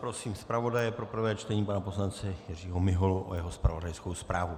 Prosím zpravodaje pro prvé čtení pana poslance Jiřího Miholu o jeho zpravodajskou zprávu.